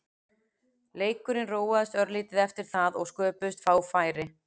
Leikurinn róaðist örlítið eftir það og sköpuðust fá færi.